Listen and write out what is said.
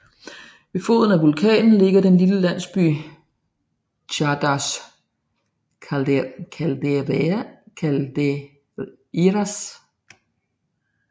Ved foden af vulkanen ligger den lille landsby Chã das Caldeiras